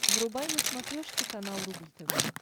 врубай на смотрешке канал рубль тв